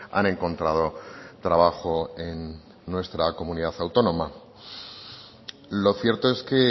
han encontrado trabajo en nuestra comunidad autónoma lo cierto es que